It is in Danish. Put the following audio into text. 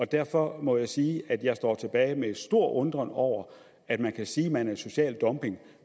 derfor må jeg sige at jeg står tilbage med stor undren over at man kan sige at man er imod social dumping